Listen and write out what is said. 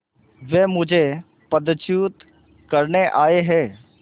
वे मुझे पदच्युत करने आये हैं